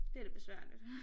Det lidt besværligt